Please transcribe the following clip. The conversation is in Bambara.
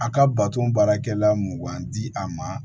A ka bato baarakɛla mun man di a ma